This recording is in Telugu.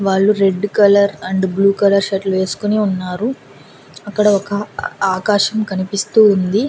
వాళ్లు red colour and blue colour shirt వేసుకొని ఉన్నారు అక్కడ ఒక ఆకాశం కనిపిస్తూ ఉంది.